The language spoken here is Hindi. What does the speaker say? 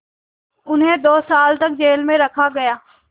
उन्हें दो साल तक जेल में रखा गया